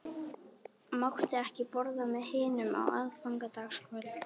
Mátti ekki borða með hinum á aðfangadagskvöld.